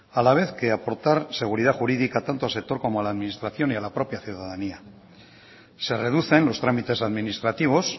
a la vez que aportar seguridad jurídica tanto al sector como a la administración y a la propia ciudadanía se reducen los trámites administrativos